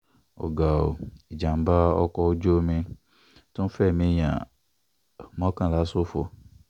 ó ga o ìjàm̀bá ọkọ̀ ojú omi tún fẹ̀mí èèyàn mọ́kànlá ṣòfò